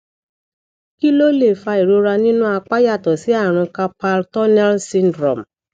kí ló lè fa ìrora nínú apá yàtọ sí àrùn carpal tunnel syndrome